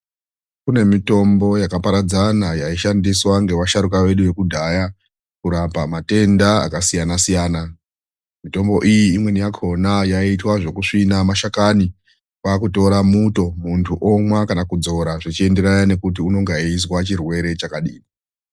Kune mitombo yakaparadzana yaishandiswa ngevasharuka vedu vekudhaya kurapa matenda yakasiyana siyana. Mitombo iyi imweni yakona yaiitwa zvekusvina mashakani kwakutora muto munhtu omwa kana kudzora zvichienderana nekuti unenge eizwa chirwere chakadini.